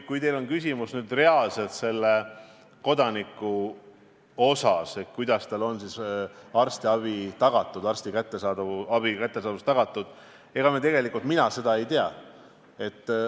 Kui teil on küsimus selle kodaniku kohta, kuidas talle on arstiabi kättesaadavus tagatud, siis ega mina seda ei tea.